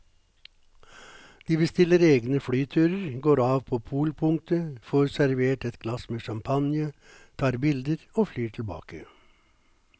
De bestiller egne flyturer, går av på polpunktet, får servert et glass med champagne, tar bilder og flyr tilbake.